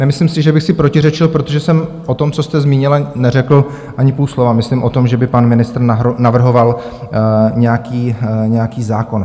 Nemyslím si, že bych si protiřečil, protože jsem o tom, co jste zmínila, neřekl ani půl slova, myslím o tom, že by pan ministr navrhoval nějaký zákon.